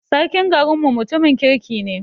Sarkim garin mu mutumin kirki ne